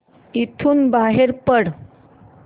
इथून बाहेर पड